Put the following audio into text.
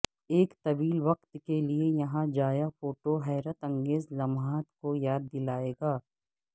ایک طویل وقت کے لئے یہاں جایا فوٹو حیرت انگیز لمحات کو یاد دلائے گا